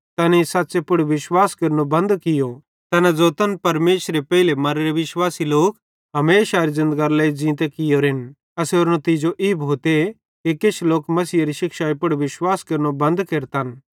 तैनेईं सच़ पुड़ विश्वास केरनो बंद कियो तैना ज़ोतन परमेशरे पेइले मर्रे विश्वासी लोक हमेशारे ज़िन्दगरे लेइ ज़ींते कियोरेन एसेरो नितीजो ई भोते कि किछ लोक मसीहेरी शिक्षाई पुड़ विश्वास केरनो बंद केरतन